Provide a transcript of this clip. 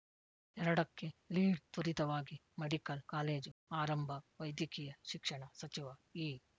ಎರಡಕ್ಕೆಲೀಡ್‌ತ್ವರಿತವಾಗಿ medical college ಆರಂಭ ವೈದ್ಯಕೀಯ ಶಿಕ್ಷಣ ಸಚಿವ ಈ